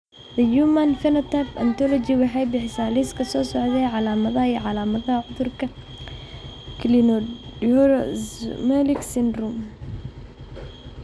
The Human Phenotype Ontology waxay bixisaa liiska soo socda ee calaamadaha iyo calaamadaha cudurka Cleidorhizomelic syndrome.